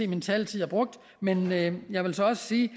min taletid er brugt men men jeg vil så også sige i